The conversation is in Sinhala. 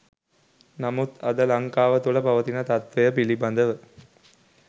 නමුත් අද ලංකාව තුළ පවතින තත්වය පිළිබ‍දව